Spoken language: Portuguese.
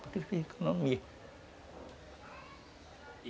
Porque ele fez economia.